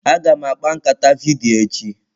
Aga m akpa nkata vidiyo echi.